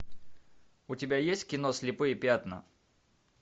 у тебя есть кино слепые пятна